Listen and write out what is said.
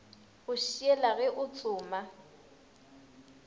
go šiela ge o tsoma